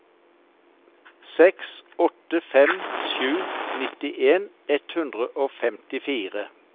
seks åtte fem sju nittien ett hundre og femtifire